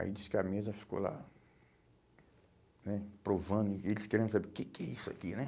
Aí disse que a mesa ficou lá, provando né, eles querendo saber o que que é isso aqui, né?